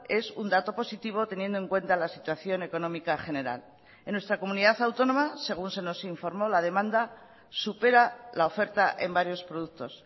es un dato positivo teniendo en cuenta la situación económica general en nuestra comunidad autónoma según se nos informó la demanda supera la oferta en varios productos